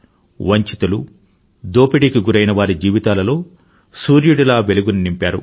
వంచితులు దోపిడీకి గురైన వారి జీవితాలలో సూర్యుడిలా వెలుగుని నింపారు